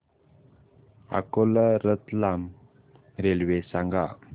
Akola Ratlam railway सांगा